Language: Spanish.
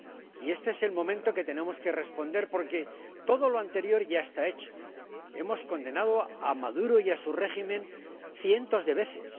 Y este es el momento en que tenemos que responder, porque todo lo anterior ya está hecho hemos condenado a Maduro y a su régimen cientos de veces